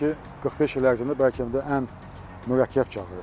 Düşünürəm ki, 45 il ərzində bəlkə də ən mürəkkəb çağırışdır.